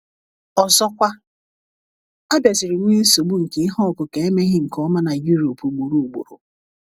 Ọzọkwa, a bịaziri nwee nsogbu nke ihe ọkụkụ emeghị nke ọma na Europe ugboro ugboro.